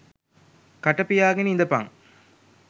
කට පියාගෙන ඉඳපන්